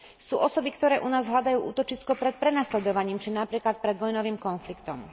Sú osoby, ktoré u nás hľadajú útočisko pred prenasledovaním či napríklad pred vojnovým konfliktom.